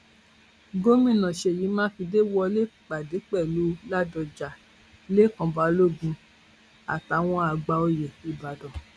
gomina ṣeyí mákindè wọlé pàdé pẹlú ládọjà lẹkàn balógun àtàwọn àgbà oyè ìbàdàn